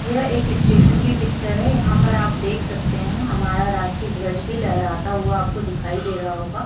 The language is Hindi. यह एक स्टेसन की पिक्चर है यहां पर आप देख सकते है हमारा रास्टीय धवज भाई लहराता हुआ आपको दिखाई दे रहा होगा।